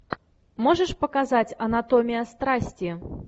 можешь показать анатомия страсти